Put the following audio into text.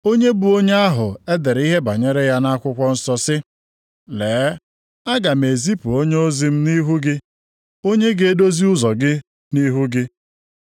Onye bụ onye ahụ e dere ihe banyere ya nʼakwụkwọ nsọ sị, “ ‘Lee, aga m ezipu onyeozi m nʼihu gị, onye ga-edozi ụzọ gị nʼihu gị.’ + 11:10 \+xt Mal 3:1\+xt*